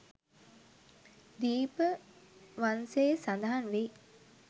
දීප වංසයේ සඳහන් වෙයි.